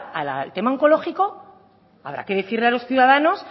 al tema oncológico habrá que decirle a los ciudadanos